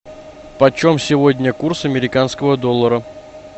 почем сегодня курс американского доллара